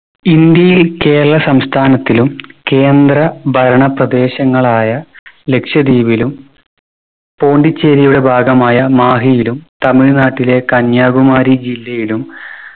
ഇന്ത്യയിൽ കേരളം സംസ്ഥാനത്തിലും കേന്ദ്ര ഭരണ പ്രദേശങ്ങളായ ലക്ഷ്ദ്വീപിലും പോണ്ടിച്ചേരിയുടെ ഭാഗമായ മാഹിയിലും തമിഴ്‌നാട്ടിലെ കന്യാകുമാരി ജില്ലയിലും